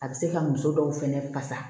A bɛ se ka muso dɔw fɛnɛ fasa